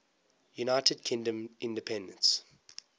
united kingdom independence